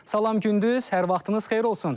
Salam Gündüz, hər vaxtınız xeyir olsun.